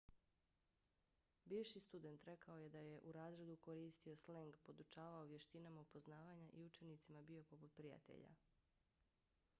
bivši student rekao je da je u razredu koristio sleng podučavao vještinama upoznavanja i učenicima bio poput prijatelja.